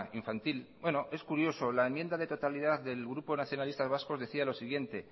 infantil bueno es curioso la enmienda de totalidad del grupo nacionalistas vascos decía lo siguiente